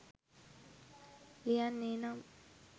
ලියන්නේනම්